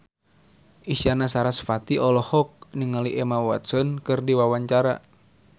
Isyana Sarasvati olohok ningali Emma Watson keur diwawancara